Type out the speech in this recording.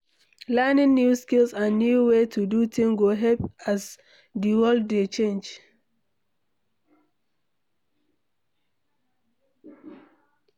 Learning new skills and new ways to do things go help as di world dey change